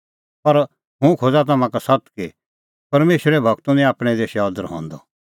पर हुंह खोज़ा तम्हां का सत्त कि परमेशरे गूरो निं आपणैं देशै अदर हंदअ